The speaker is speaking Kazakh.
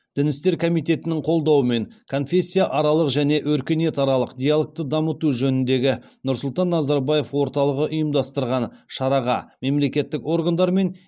дін істер комитетінің қолдауымен конфессияаралық және өркениетаралық диалогты дамыту жөніндегі нұрсұлтан назарбаев орталығы ұйымдастырған шараға мемлекеттік органдар мен